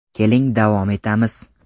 Keling davom etamiz.